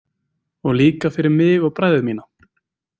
Og líka fyrir mig og bræður mína.